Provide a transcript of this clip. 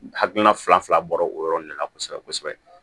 Hakilina fila bɔra o yɔrɔ de la kosɛbɛ kosɛbɛ